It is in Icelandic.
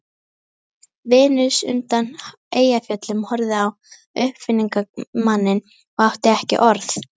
Venus undan Eyjafjöllum horfði á uppfinningamanninn og átti ekki orð.